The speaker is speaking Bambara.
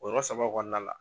O yɔrɔ saba kɔnɔna la.